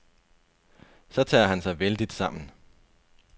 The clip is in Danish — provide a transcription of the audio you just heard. Så tager han sig vældigt sammen.